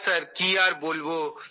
হ্যাঁ স্যার কি আর বলবো